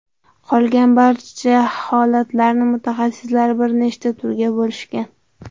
Qolgan barcha holatlarni mutaxassislar bir nechta turga bo‘lishgan.